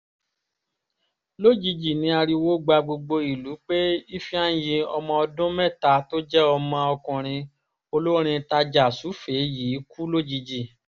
lójijì ní ariwo gba gbogbo ìlú pé ifeanyi ọmọ ọdún mẹ́ta tó jẹ́ ọmọ ọkùnrin olórin tajà-sùfèé yìí kú lójijì